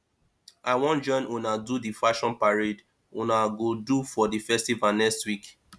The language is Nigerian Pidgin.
i wan join una do the fashion parade una go do for the festival next week